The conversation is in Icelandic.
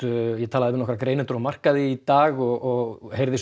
ég talaði við nokkra greinendur á markaði í dag og heyrði